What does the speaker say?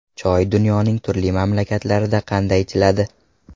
Choy dunyoning turli mamlakatlarida qanday ichiladi?.